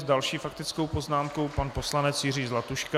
S další faktickou poznámkou pan poslanec Jiří Zlatuška.